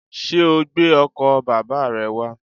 Sé o gbé ọkò bàbá re wá?